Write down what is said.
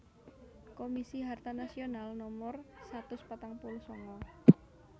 Komisi Harta Nasional Nomor satus patang puluh sanga